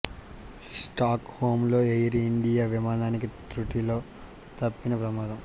stock home లో Air India విమానానికి త్రుటిలో తప్పిన ప్రమాదం